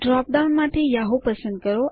drop down માંથી Yahoo પસંદ કરો